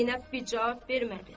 Zeynəb bir cavab vermədi.